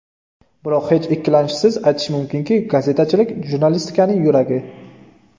Biroq hech ikkilanishsiz aytish mumkinki, gazetachilik jurnalistikaning yuragi.